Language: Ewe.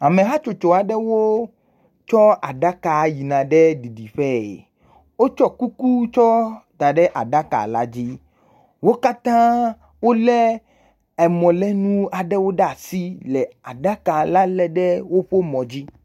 Ame hatsotso aɖewo tsɔ aɖaka yina ɖe didiƒee. Wotsɔ kuku tsɔ da ɖe aɖaka la dzi. Wo katã wolé emɔlénu aɖewo ɖe asi le aɖaka la lé ɖe woƒe mɔ dzi.